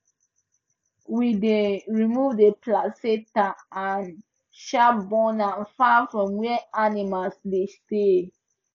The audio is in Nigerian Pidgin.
we dey remove the placenta and um burn am far from where animals dey stay